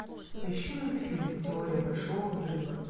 поищи мультфильм теория большого взрыва